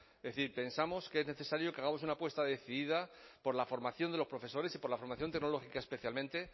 es decir pensamos que es necesario que hagamos una apuesta decidida por la formación de los profesores y por la formación tecnológica especialmente